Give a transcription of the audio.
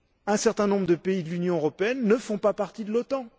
Un certain nombre de pays de l'Union européenne ne font pas partie de l'OTAN.